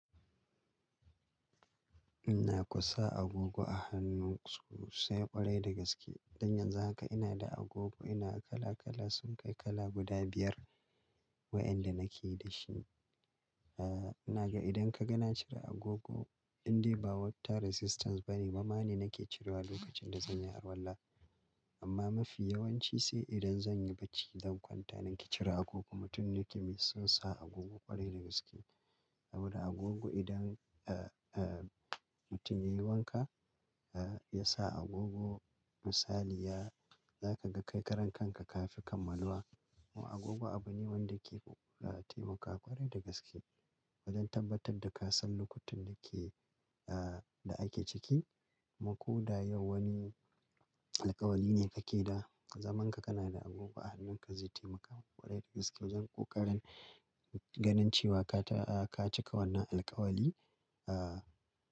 Ina kusa agogo a hannunsu sosai ƙwarai da gaske. Don yanzu haka ina da agogo ina kala kala sun kai kala guda biyar waɗanda nake da shi. Aaa, ina ga idan ka ga na cire agogo indai ba water resistance bane bamma ne nake cirewa lokacin da zan yi arwala. Amma mafi yawanci sai idan zan yi bacci zan kwanta nake cire agogo. Mutum ne ke mai son sa agogo ƙwarai da gaske. Saboda agogo idan, eh, eh mutum ya yi wanka, eh, ya sa agogo misali ya-- za ka ga kai karan kanka ka fi kammaluwa. Mu agogo abu ne wanda ke, ah, taimakawa ƙwarai da gaske wajen tabbatar da ka san lokacin da ke, ah, da ake ciki. Mu ko da yau wani alkawali ne kake da, zaman ka kana da agogo a hannunka zai taimaka ƙwarai da gaske wajen ƙoƙarin ganin cewa ka ta, ah, ka cika wannan alkawali, ah.